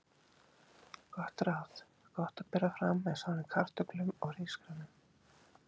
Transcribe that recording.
Gott ráð: Gott að bera fram með soðnum kartöflum eða hrísgrjónum.